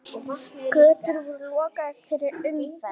Götur voru lokaðar fyrir umferð.